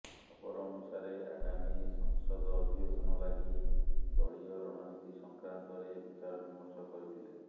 ଖବର ଅନୁସାରେ ଆଗାମୀ ସଂସଦ ଅଧିବେଶନ ଲାଗି ଦଳୀୟ ରଣନୀତି ସଂକ୍ରାନ୍ତରେ ବିଚାରବିମର୍ଶ କରିଥିଲେ